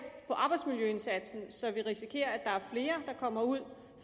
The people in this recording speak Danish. på arbejdsmiljøindsatsen så vi risikerer at der er flere der kommer ud